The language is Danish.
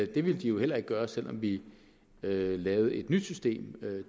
det ville de jo heller ikke gøre selv om vi lavede lavede et nyt system